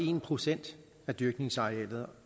en procent af dyrkningsarealet